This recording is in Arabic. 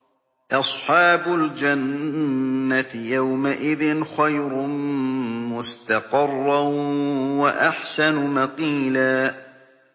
أَصْحَابُ الْجَنَّةِ يَوْمَئِذٍ خَيْرٌ مُّسْتَقَرًّا وَأَحْسَنُ مَقِيلًا